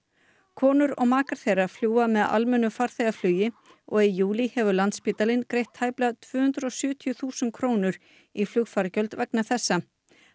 konur og makar þeirra fljúga með almennu farþegaflugi og í júlí hefur Landspítalinn greitt tæplega tvö hundruð og sjötíu þúsund krónur í flugfargjöld vegna þessa